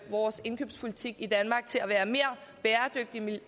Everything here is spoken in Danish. vores indkøbspolitik i danmark til at være mere bæredygtig